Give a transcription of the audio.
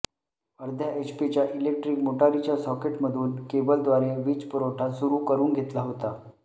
अर्धा एचपीच्या इलेक्ट्रिक मोटारीच्या सॉकेटमधून केबलद्वारे वीजपुरवठा सुरू करून घेतला होता